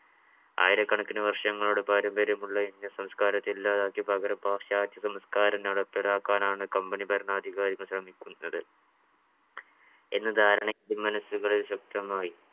ആയിരക്കണക്കിന് വർഷങ്ങളുടെ പാമ്പര്യമുള്ള Indian സംസ്കാരത്തെ ഇല്ലാതാക്കി പകരം പാശ്ചാത്യ സംസ്കാരം നടപ്പിലാക്കാൻ ആണ് company ഭരണാധികാരികൾ ശ്രമിക്കുന്നത്. എന്ന ധാരണയെ indian മനസ്സുകളിൽ ശക്തമായി